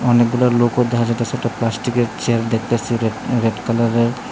অনেকগুলা লোক ওর ধারে কাসে একটা প্লাস্টিকের চেয়ার দেখতাসি রেড রেড কালারের।